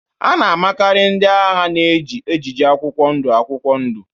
A na-amakarị ndị agha na-eji ejiji akwụkwọ ndụ akwụkwọ ndụ